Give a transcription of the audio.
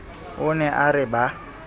o ne a re ba